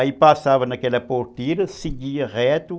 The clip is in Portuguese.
Aí passava naquela porteira, seguia reto.